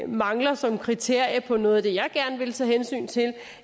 mangler som et kriterie på noget af det jeg gerne vil tage hensyn til